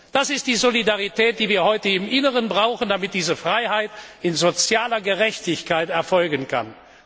Das ist die Solidarität, die wir heute im Inneren brauchen, damit diese Freiheit in sozialer Gerechtigkeit erfolgen kann.